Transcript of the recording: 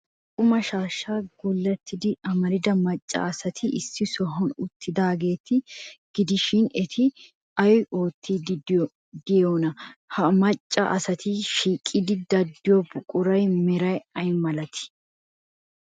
Issi qumaashshaa gullettida amarida macca asati issi sohuwan uttidaageeta gidishin, eti ay oottiiddi de'iyoonaa? Ha macca asati sikkiiddi de'iyo buquratussi meray ay malatii?